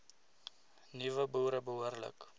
nuwe boere behoorlik